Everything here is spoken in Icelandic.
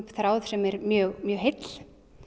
þræði sem er mjög mjög heill